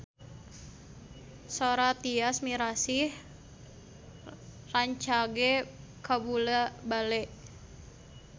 Sora Tyas Mirasih rancage kabula-bale